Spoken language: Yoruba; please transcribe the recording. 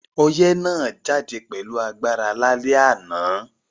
Oyẹ́ náà jáde pẹ̀lu agbára lálẹ́ ànán